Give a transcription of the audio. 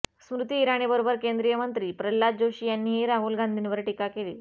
स्मृती इराणीबरोबर केंद्रीय मंत्री प्रल्हाद जोशी यांनीही राहुल गांधीवर टीका केली